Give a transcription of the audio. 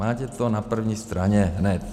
Máte to na první straně hned.